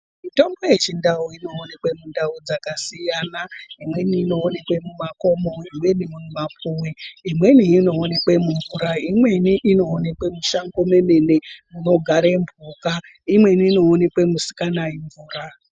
Mitombo yeChiNdau inoonekwe mundau dzakasiyana. Imweni inoonekwa mumakomo, imweni mumapuwe, imweni inoonekwe mumvura, imweni inoonekwe mushango memene munogare mbuka, imweni inoonekwe kusikanayi mvura.